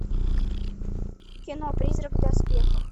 кино призрак в доспехах